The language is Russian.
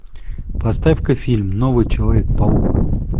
поставь ка фильм новый человек паук